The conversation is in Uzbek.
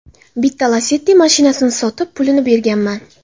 Bitta Lacetti mashinasini sotib, pulini berganman.